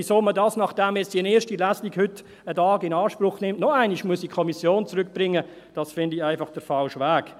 Dass man das jetzt, nachdem die erste Lesung heute einen Tag in Anspruch nimmt, noch einmal in die Kommission zurückbringen muss, das finde ich einfach den falschen Weg.